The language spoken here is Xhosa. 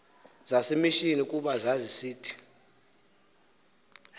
zasemishini kuba zazisith